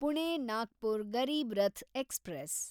Pune Nagpur Garib Rath express